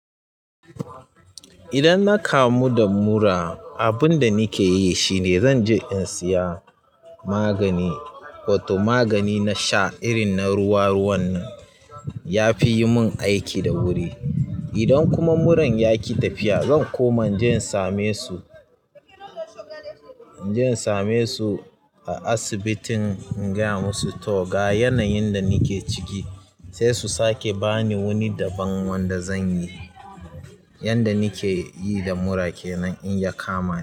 Idan na kamu da mura, abin da nake yi shine zan je in siya magani, wato magani na sha irin na ruwa-ruwan nan. Yafi yi min aiki da wuri idan kuma muran ya ƙi tafiya, zan koma inje in same su, inje in same su a asibitin in gaya musu to ga yanayin da nake ciki, sai su sake bani wani daban wanda zan yi. Yanda nake yi da mura kenan in ya kama ni.